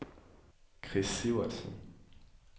Chris Sivertsen